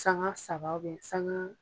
Sanga saba bɛɛ sanga.